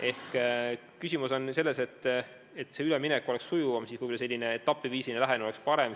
Ehk mõte on selles, et ülemineku sujuvamaks muutmiseks oleks selline etapiviisiline lähenemine võib-olla parem.